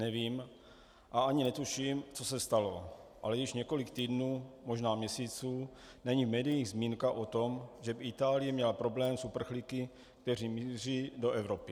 Nevím a ani netuším, co se stalo, ale již několik týdnů, možná měsíců není v médiích zmínka o tom, že by Itálie měla problém s uprchlíky, kteří míří do Evropy.